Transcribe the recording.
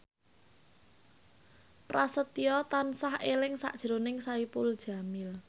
Prasetyo tansah eling sakjroning Saipul Jamil